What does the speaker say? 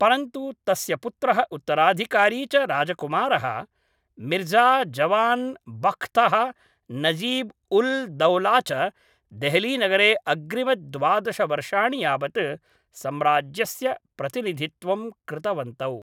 परन्तु तस्य पुत्रः उत्तराधिकारी च राजकुमारः मिर्जा जवान बख्तः नजीब उल दौला च देहलीनगरे अग्रिमद्वादश वर्षाणि यावत् सम्राज्यस्य प्रतिनिधित्वं कृतवन्तौ